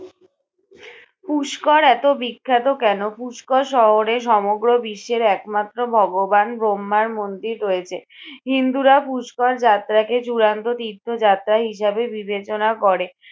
পুষ্কর এতো বিখ্যাত কেন? পুষ্কর শহরে সমগ্র বিশ্বের একমাত্র ভগবান ব্রহ্মার মন্দির রয়েছে। হিন্দুরা পুষ্কর যাত্রাকে চূড়ান্ত তীর্থ যাত্রা হিসাবে বিবেচনা করে।